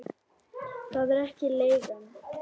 Það er ekki leigan.